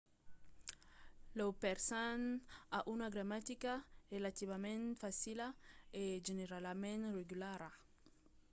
lo persan a una gramatica relativament facila e generalament regulara